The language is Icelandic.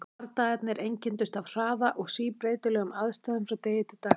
Bardagarnir einkenndust af hraða og síbreytilegum aðstæðum frá degi til dags.